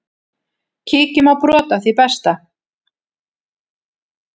Kíkjum á brot af því besta.